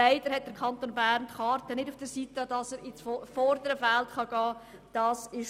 Leider hat der Kanton Bern nicht die Karten, um ins vordere Feld zu gelangen.